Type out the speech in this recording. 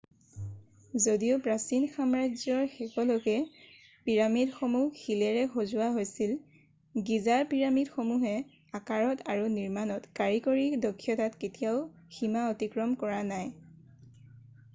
যদিও প্ৰাচীন সাম্ৰাজ্যৰ শেষলৈকে পিৰামিডসমূহ শিলেৰে সজোৱা হৈছিল গীজাৰ পিৰামিডসমূহে আকাৰত আৰু নিৰ্মাণৰ কাৰিকৰী দক্ষতাত কেতিয়াও সীমা অতিক্ৰম কৰা নাই